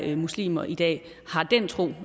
er muslimer i dag har den tro